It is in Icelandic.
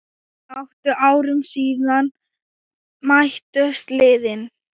Átta árum síðan mættust liðin.